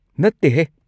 ꯅꯠꯇꯦꯍꯦ!